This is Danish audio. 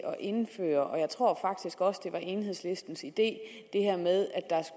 indføre og jeg tror faktisk også det var enhedslistens idé det her med at